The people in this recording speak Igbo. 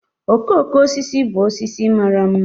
Okooko osisi bụ osisi mara ḿmà